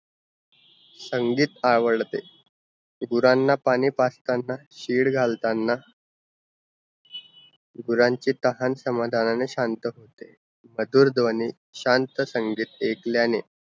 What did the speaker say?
संगीत आवडते घुरांना पानी पाजताना शिड घालतान गुरांचे तहान समादनाने शांत होते, मधुर ध्वनी शांत संगीत आयकल्याने